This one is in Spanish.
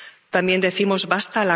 También decimos ¡basta!